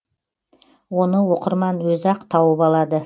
оны оқырман өзі ақ тауып алады